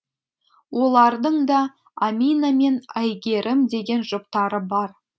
олардың да амина мен әйгерім деген жұптары бар